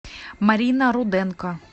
марина руденко